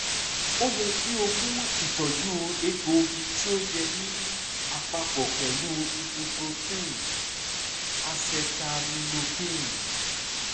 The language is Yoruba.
o yẹ ki o mu itọju egboogi ti o yẹ ni apapo pẹlu ibuprofen acetaminophen